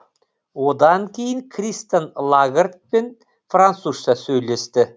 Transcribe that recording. одан кейін кристин лагардпен французша сөйлесті